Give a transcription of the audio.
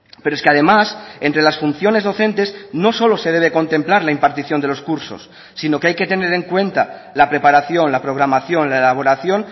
pero es que además entre las funciones docentes no solo se debe contemplar la impartición de los cursos sino que hay que tener en cuenta la preparación la programación la elaboración